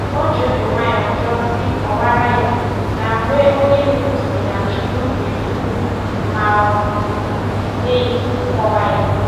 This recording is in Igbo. O ji obi nwayọ jụọ sị kọwara ya, na mgbe onye ndu sị na Chukwu nyere iwu ma o nyeghị nkọwa ya